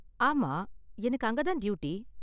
ஆமா எனக்கு அங்க தான் டியூட்டி.